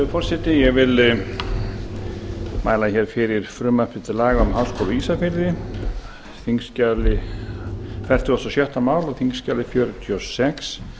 virðulegi forseti ég mæli hér fyrir frumvarpi til laga um háskóla á ísafirði fertugasta og sjötta mál á þingskjali fjörutíu og sex